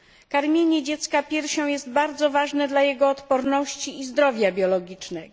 Karmienie dziecka piersią jest bardzo ważne dla jego odporności i zdrowia biologicznego.